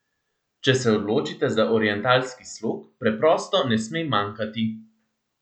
Če se odločite za orientalski slog, preprosto ne sme manjkati!